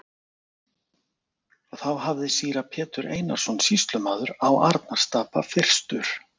Þá hafði síra Pétur Einarsson sýslumaður á Arnarstapa fyrstur